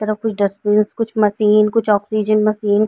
तरफ कुछ डस्ट्बिन कुछ मशीन कुछ आक्सिजन मशीन --